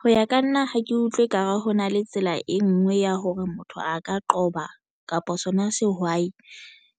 Ho ya ka nna ha ke utlwe ekare ho na le tsela e nngwe ya hore motho a ka qoba kapa sona sehwai